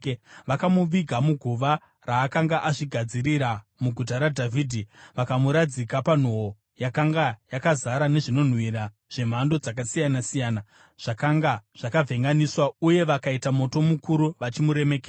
Vakamuviga muguva raakanga azvigadzirira muGuta raDhavhidhi. Vakamuradzika panhoo yakanga yakazara nezvinonhuhwira zvemhando dzakasiyana-siyana zvakanga zvakavhenganiswa uye vakaita moto mukuru vachimuremekedza.